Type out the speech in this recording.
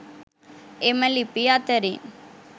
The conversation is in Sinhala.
එම ලිපි අතරින්